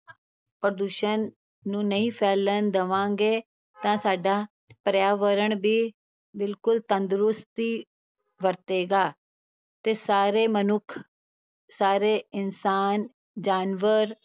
ਪ੍ਰਦੂਸ਼ਣ ਨੂੰ ਨਹੀਂ ਫੈਲਣ ਦੇਵਾਂਗੇ ਤਾਂ ਸਾਡਾ ਪਰਿਆਵਰਣ ਵੀ ਬਿਲਕੁਲ ਤੰਦਰੁਸਤੀ ਵਰਤੇਗਾ, ਤੇ ਸਾਰੇ ਮਨੁੱਖ, ਸਾਰੇ ਇਨਸਾਨ, ਜਾਨਵਰ